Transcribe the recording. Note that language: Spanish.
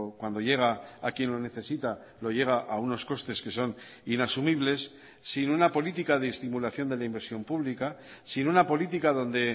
cuando llega a quién lo necesita lo llega a unos costes que son inasumibles sin una política de estimulación de la inversión pública sin una política donde